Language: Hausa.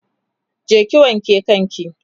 je ki wanke kan ki!